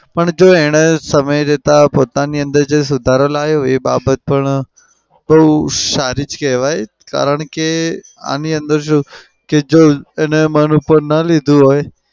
પણ જો એને સમય જતા પોતાની અંદર જે સુધારો લાવ્યો જે બાબત પણ બઉ સારી જ કેવાય. કારણ કે આની અંદર જો એને મન ઉપર ના લીધું હોય